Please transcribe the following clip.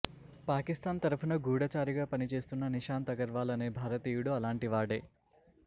పాకిస్తాన్ తరఫున గూఢచారిగా పనిచేస్తున్న నిశాంత్ అగర్వాల్ అనే భారతీయుడు అలాంటివాడే